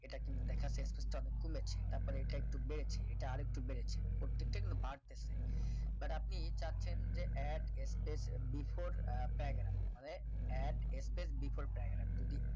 এটা কিন্তু দেখাচ্ছে space আমি খুলেছি তারপরে এটা একটু বেড়েছি এটা আরেকটু বেড়েছে প্রত্যেকটা এগুলো বাড়তেছে but আপনি চাচ্ছেন যে add space before uh paragraph মানে add space before paragraph যদি